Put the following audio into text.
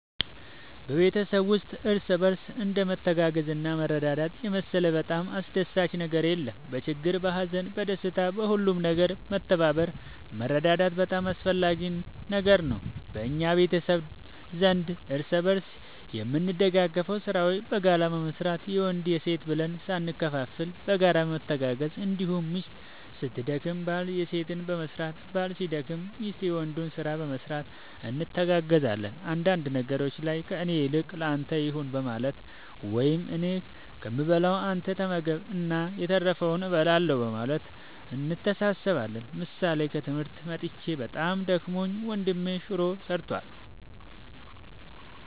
በቤተሰብ ውስጥ እርስ በርስ እንደ መተጋገዝና መረዳዳት የመሰለ በጣም አስደሳች ነገር የለም በችግር በሀዘን በደስታ በሁሉም ነገር መተባበር መረዳዳት በጣም አስፈላጊ ነገር ነው በእኛ ቤተሰብ ዘንድ እርስ በርስ የምንደጋገፈው ስራዎችን በጋራ በመስራት የወንድ የሴት ብለን ሳንከፋፈል በጋራ በመተጋገዝ እንዲሁም ሚስት ስትደክም ባል የሴትን በመስራት ባል ሲደክም ሚስት የወንዱን ስራ በመስራት እንተጋገዛለን አንዳንድ ነገሮች ላይ ከእኔ ይልቅ ለአንተ ይሁን በማለት ወይም እኔ ከምበላ አንተ ተመገብ እና የተረፈውን እበላለሁ በማለት እንተሳሰባለን ምሳሌ ከትምህርት መጥቼ በጣም ደክሞኝ ወንድሜ ሹሮ ሰርቷል።